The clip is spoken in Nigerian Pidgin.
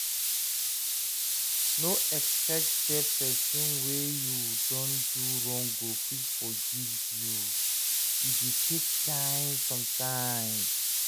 No expect sey person wey you don do wrong go quick forgive you, e dey take time sometimes